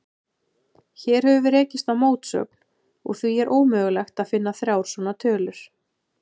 Hér höfum við rekist á mótsögn, og því er ómögulegt að finna þrjár svona tölur.